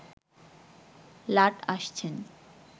লাট আসছেন